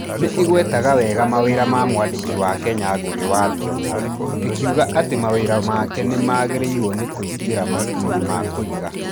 Nĩ ĩgwetaga wega mawĩra ma mwandĩki wa Kenya Ngugi Wa Thiong "o, ĩkiuga atĩ mawĩra make nĩ magĩrĩirwo nĩ kũingĩra mabuku-inĩ ma kũiga.